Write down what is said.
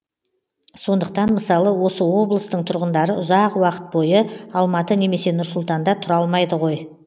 сондықтан мысалы осы облыстың тұрғындары ұзақ уақыт бойы алматы немесе нұр сұлтанда тұра алмайды ғой